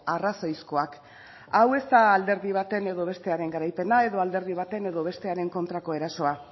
arrazoizkoak hau ez da alderdi baten edo bestearen garaipena edo alderdi baten edo bestearen kontrako erasoa